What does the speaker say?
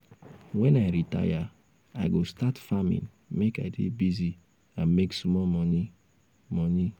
wen i retire i go start farming make i dey busy and make small money. money.